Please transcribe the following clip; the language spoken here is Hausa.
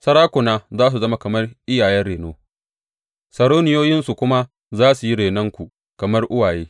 Sarakuna za su zama kamar iyayen reno, sarauniyoyinsu kuma za su yi renonku kamar uwaye.